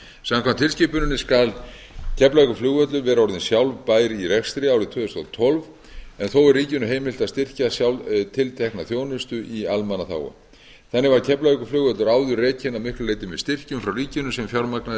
samkvæmt tilskipuninni skal keflavíkurflugvöllur vera orðinn sjálfbær í rekstri árið tvö þúsund og tólf en þó er ríkinu heimilt að styrkja tiltekna þjónustu í almannaþágu þannig var keflavíkurflugvöllur áður rekinn að miklu leyti með styrkjum frá ríkinu sem fjármagnaðir